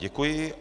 Děkuji.